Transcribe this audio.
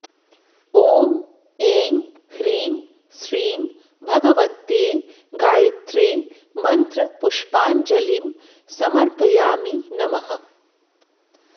ॐ ऐं ह्रीं श्रीं भगवत्यै गायत्र्यै मन्त्रपुष्पाञ्जलिं समर्पयामि नमः